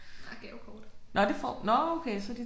Nej gavekort til forskellige butikker